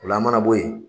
O la a mana bɔ yen